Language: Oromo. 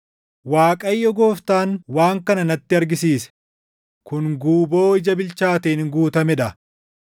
Waaqayyo Gooftaan waan kana natti argisiise: kun guuboo ija bilchaateen guutamee dha.